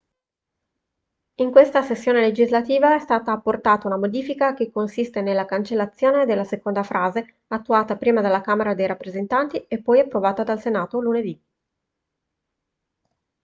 in questa sessione legislativa è stata apportata una modifica che consiste nella cancellazione della seconda frase attuata prima dalla camera dei rappresentanti e poi approvata dal senato lunedì